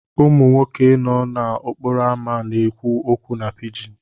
Ụmụ nwoke nọ n'okporo ámá na-ekwu okwu na pijin.